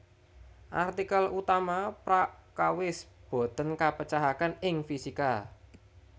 Artikel utama Prakawis boten kapecahaken ing fisika